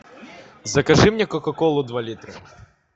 закажи мне кока колу два литра